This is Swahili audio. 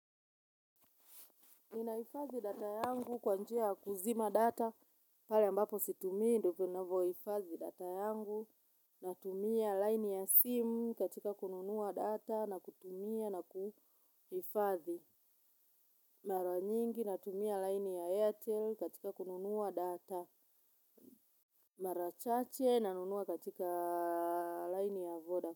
Ninahifadhi data yangu kwa njia ya kuzima data pale ambapo situmii ndio ninavyohifadhi data yangu natumia laini ya simu katika kununua data na kutumia na kuhifadhi mara nyingi natumia laini ya airtel katika kununua data mara chache nanunua katika laini ya vodacom.